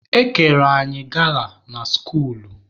E kere anyị gala na skuulu.